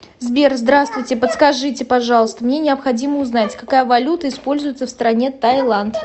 сбер здравствуйте подскажите пожалуйста мне необходимо узнать какая валюта используется в стране тайланд